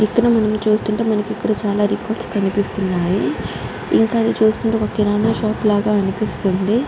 ఇక్కడ మనం చూస్తుంటే ఇక్కడ మనకి చాల రికార్డ్స్ కనిపిస్తునై. ఇంకా చూస్తుంటే కిరణం షాప్ ల కనిపిస్తుంది.